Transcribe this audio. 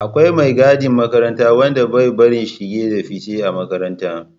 Akwai mai gadin makaranta wanda bai bari shige da fice a makaranta